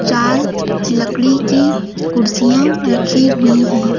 चार लकड़ी की कुर्सियां रखी हुई हैं।